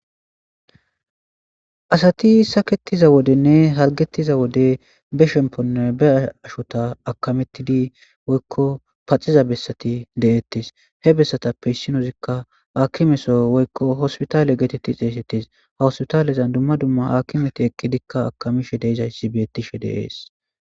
Asati saketiza wodenne halgettiza wode be shemponne ba ashota akametidi woykko paxiza bessati de7ettis he bessatappe issinozikka akimeso woykko hospitaale geetetti xeesettis hawospitaalezan dumma dumma hakimeti ekkidikka akamishe deizayssi beettishe deees